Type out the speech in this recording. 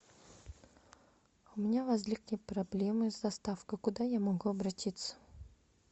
у меня возникли проблемы с доставкой куда я могу обратиться